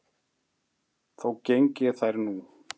Þó geng ég þær nú